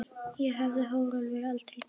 Það hefði Hrólfur aldrei gert.